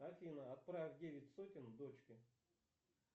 афина отправь девять сотен дочке